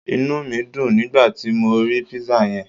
Inúmídun nígbàti mo ri Pizza yen